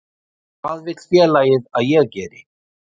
Hvað vill félagið að ég geri?